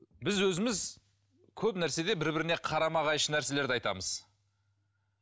біз өзіміз көп нәрседе бір біріне қарама қайшы нәрселерді айтамыз